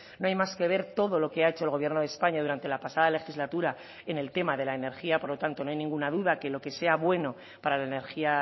no hay más que ver todo lo que ha hecho el gobierno de españa durante la pasada legislatura en el tema de la energía por lo tanto no hay ninguna duda que lo que sea bueno para la energía